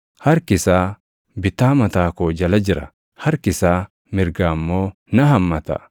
Harki isaa bitaa mataa koo jala jira; harki isaa mirgaa immoo na hammata.